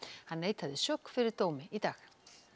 hann neitaði sök fyrir dómi í dag